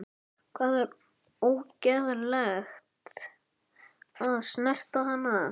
Það var ógerlegt að snerta hana.